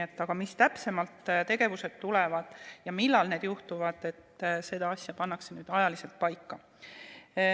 Aga see, millised tegevused täpsemalt tulevad ja millal need juhtuvad, pannakse nüüd ajaliselt paika.